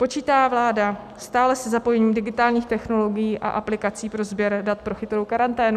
Počítá vláda stále se zapojením digitálních technologií a aplikací pro sběr dat pro chytrou karanténu?